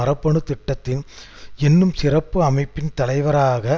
குற்றச்சாட்டை அவர் மறுத்து வருகிறார் மற்றும் பாதுகாப்பு